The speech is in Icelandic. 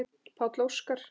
Páll Óskar.